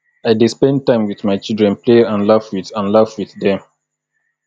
i dey spend time wit my children play and laugh wit and laugh wit dem